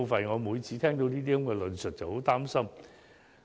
"我每次聽到這些論述便很擔心。